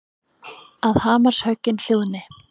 Að hamarshöggin hljóðni.